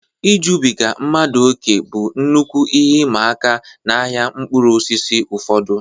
Ijubiga mmadụ ókè bụ nnukwu ihe ịma aka n'ahịa mkpụrụ osisi ụfọdụ.